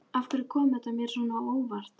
Og af hverju kom þetta mér svona á óvart?